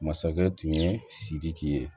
Masakɛ tun ye sidiki ye